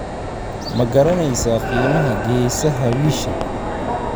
ma garanaysaa qiimaha geesaha wiyisha?